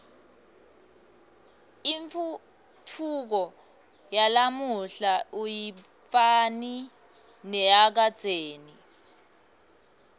intfutfuko yalamuhla ayifani neyakadzeni